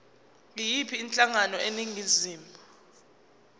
yiyiphi inhlangano eningizimu